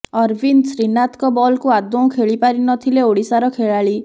ଅରବିନ୍ଦ ଶ୍ରୀନାଥଙ୍କ ବଲକୁ ଆଦୌ ଖେଳି ପାରି ନ ଥିଲେ ଓଡ଼ିଶାର ଖେଳାଳି